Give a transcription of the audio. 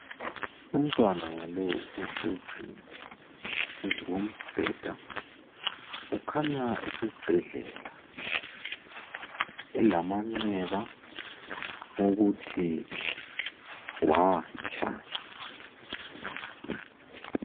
Umntwana lowu ohlezi phezu kombheda ukhanya esesibhedlela elamanxeba okuthi watsha.